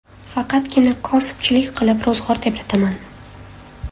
Faqatgina kosibchilik qilib ro‘zg‘or tebrataman.